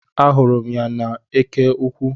Ahụrụ m ya n'eke ukwu